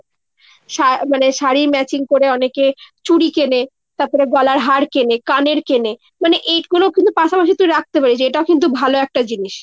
শা মানে শাড়ী matching করে অনেকে চুড়ি কেনে তাপরে গলার হার কেনে কানের কেনে। মনে এগুলো কিন্তু পাশাপাশি তুই রাখতে পারিস। এটাও কিন্তু ভালো একটা জিনিস।